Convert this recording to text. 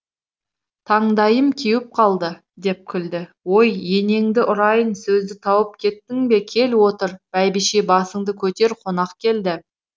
таңдайым кеуіп қалды деп күлді ой енеңді ұрайын сөзді тауып кеттің кел отыр бәйбіше басыңды көтер қонақ келді